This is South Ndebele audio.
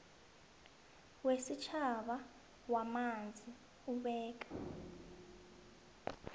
wesitjhaba wamanzi ubeka